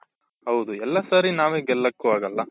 ಹೌದು ಎಲ್ಲಾ ಸರಿ ನಾವೇ ಗೆಲ್ಲಕು ಆಗಲ್ಲ